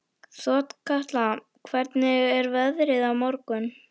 Þorkatla, hvernig er veðrið á morgun?